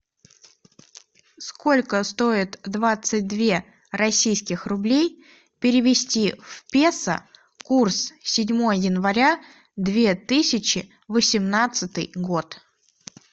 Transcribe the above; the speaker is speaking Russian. сколько стоит двадцать две российских рублей перевести в песо курс седьмое января две тысячи восемнадцатый год